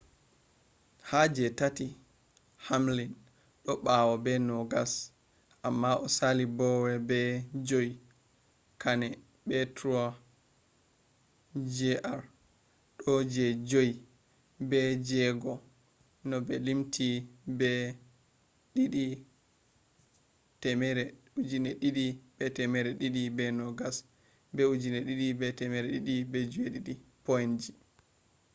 ha je tati hamlin do bawo be nogas amma o sali bowyer be joyi kahne be truex jr do je joyi be je jego no mi limti do be 2,220 be 2,207 point ji